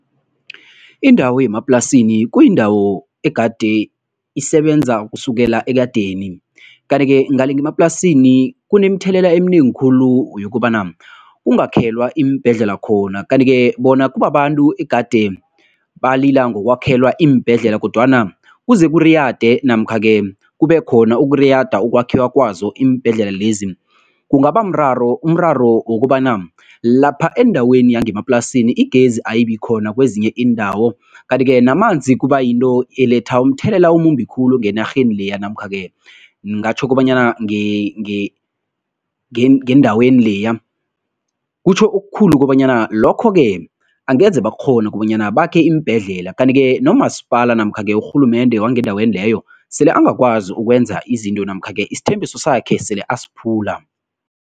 Indawo yemaplasini kuyindawo egade isebenza kusukela ekadeni kanti-ke ngale ngemaplasini kunemthelela eminengi khulu yokobana kungakhelwa iimbhedlela khona kanti-ke bona kubabantu egade balila ngokwakhelwa iimbhedlela kodwana kuze kuriyade namkha-ke kubekhona ukuriyada ukwakhiwa kwazo iimbhedlela lezi. Kungabamraro, umraro wokobana lapha endaweni yangemaplasini igezi ayibikhona kwezinye iindawo, kanti-ke namanzi kubayinto eletha umthelela omumbi khulu ngenarheni leya namkha-ke ngatjho kobanyana ngendaweni leya. Kutjho okukhulu kobanyana lokho-ke angeze bakghona kobanyana bakhe iimbhedlela kanti-ke nomasipala namkha-ke urhulumende wangendaweni leyo sele angakwazi ukwenza izinto namkha-ke isithembiso sakhe sele asiphula.